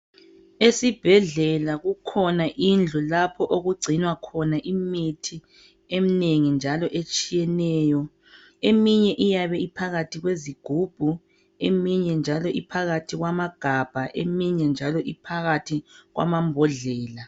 Esibhedlela kukhona indlu lapho okugcinwa khona imithi eminengi njalo etshiyeneyo. Eminye iyabe iphakathi kwezigubhu. Eminye njalo iphakathi kwamagabha. Eminye njalo iphakathi kwamambodlela.